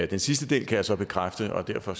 den sidste del kan jeg så bekræfte og derfor